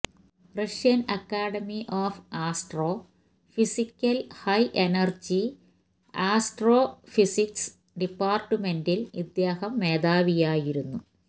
Russian academy of ആസ്ട്രോഫിസിക്സിൽ high energy astrophysics ഡിപ്പാർട്ട്മെന്റിൽ ഇദ്ദേഹം മേധാവിയായിരുന്നു